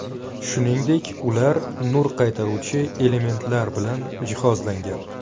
Shuningdek, ular nur qaytaruvchi elementlar bilan jihozlangan.